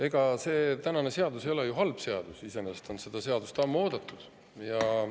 Ega see tänane seadus ei ole ju iseenesest halb seadus, seda seadust on ammu oodatud.